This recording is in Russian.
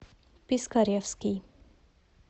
пискаревский